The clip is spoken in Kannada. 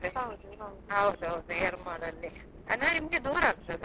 ಹೌದು ಹೌದು.